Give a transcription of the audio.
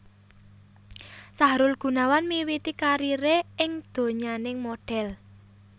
Sahrul Gunawan miwiti kariré ing donyaning modhel